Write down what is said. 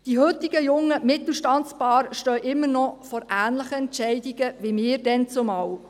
Die heutigen jungen Mittelstandspaare stehen immer noch vor ähnlichen Entscheidungen wie wir damals.